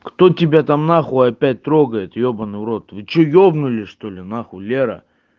кто тебя там нахуй опять трогает ёбаный в рот вы что ёбнулись что ли нахуй лера